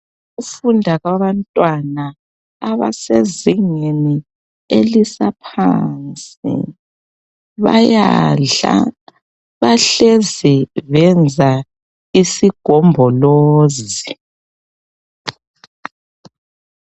Ukufunda kwabantwana abasezingeni elisaphansi bayadla bahlezi benza isigombolozi.